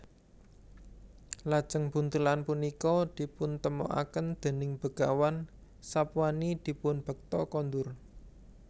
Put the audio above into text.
Lajeng buntelan punika dipuntemokaken déning Begawan Sapwani dipun bekta kondur